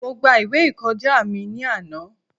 Mo gba ìwé ìkọjá mi ní àná.